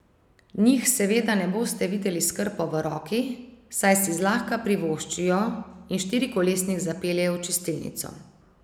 Njih seveda ne boste videli s krpo v roki, saj si zlahka privoščijo in štirikolesnik zapeljejo v čistilnico.